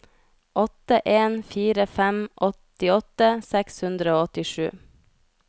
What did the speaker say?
åtte en fire fem åttiåtte seks hundre og åttisju